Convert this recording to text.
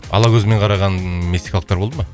ала көзімен қараған мексикалықтар болды ма